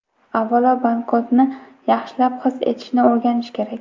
Avvalo, banknotni yaxshilab his etishni o‘rganish kerak.